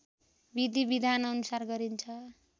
विधि विधानअनुसार गरिन्छ